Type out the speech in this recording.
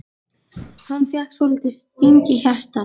Hann fékk svolítinn sting í hjartað.